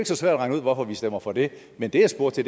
så svært at regne ud hvorfor vi stemmer for det men det jeg spurgte